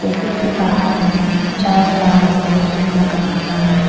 Cafe के बाहर में चार फ्लावर पॉट भी रखा हुआ है।